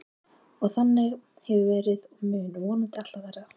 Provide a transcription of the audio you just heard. Og þannig hefur það verið og mun vonandi alltaf verða.